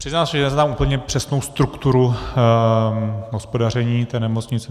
Přiznám se, že neznám úplně přesnou strukturu hospodaření té nemocnice.